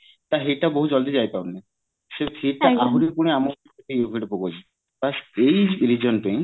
ତା heat ଟା ବହୁତ ଜଳଦି ଯାଇ ପାରୁନି ସେ heat ତା ଆହୁରି ପୁଣି ଆମ ଉପରେ effect ପକଉଚି ବାସ ଏଇ reason ପାଇଁ